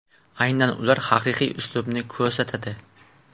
Aynan ular haqiqiy uslubni ko‘rsatadi!